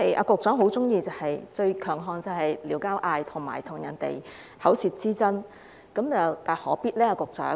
局長最喜歡、最強項，就是"撩交嗌"，以及與人有口舌之爭，這又何必呢？